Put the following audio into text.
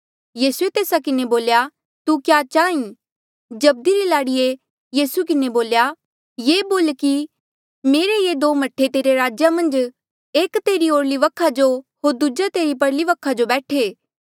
यीसूए तेस्सा किन्हें बोल्या तू क्या चाहीं जब्दी री लाड़िए यीसू किन्हें बोल्या ये बोल कि मेरे ये दो मह्ठे तेरे राज्या मन्झ एक तेरे ओरली वखा जो होर दूजा तेरी परली वखा जो बैठे